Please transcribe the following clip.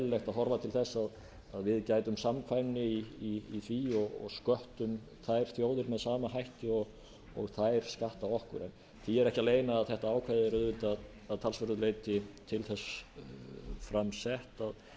og út af fyrir sig eðlilegt að horfa til þess að við gætum hagkvæmni í því og sköttum þær þjóðir með sama hætti og þær skatta okkur því er ekki að leyna að þetta ákvæði er auðvitað að talsverðu leyti til þess fram sett